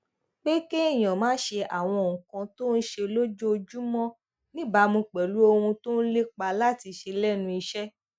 pé kéèyàn máa ṣe àwọn nǹkan tó ń ṣe lójoojúmó níbàámu pèlú ohun tó ń lépa láti ṣe lénu iṣé